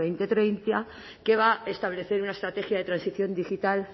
dos mil treinta que va a establecer una estrategia de transición digital